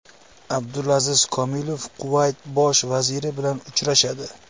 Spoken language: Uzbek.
Abdulaziz Komilov Kuvayt bosh vaziri bilan uchrashadi.